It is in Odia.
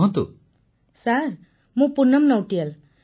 ପୁନମ ନୌଟିଆଲ୍ ସାର୍ ମୁଁ ପୁନମ୍ ନୌଟିଆଲ୍